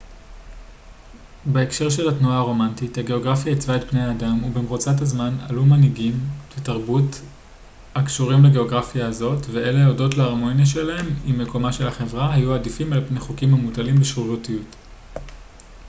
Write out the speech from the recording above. בהקשר של התנועה הרומנטית הגאוגרפיה עיצבה את בני האדם ובמרוצת הזמן עלו מנהגים ותרבות הקשורים לגאוגרפיה הזאת ואלה הודות להרמוניה שלהם עם מקומה של החברה היו עדיפים על-פני חוקים המוטלים בשרירותיות